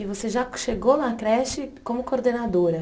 E você já chegou na creche como coordenadora?